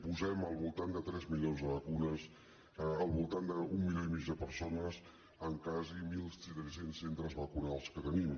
posem al voltant de tres milions de vacunes al voltant d’un milió i mig de persones en quasi mil tres cents centres vacunals que tenim